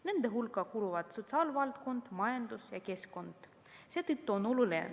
Nende hulka kuuluvad sotsiaalvaldkond, majandus ja keskkond.